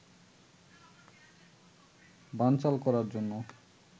বানচাল করার জন্য